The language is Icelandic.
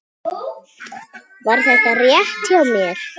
Var þetta rétt hjá mér?